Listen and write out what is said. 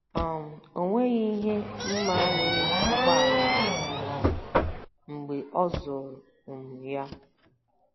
um O nweghị ihe m ma mere ụgbọala ahụ um mgbe ọ zụrụ um ya.